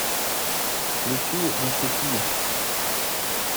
включи на цепи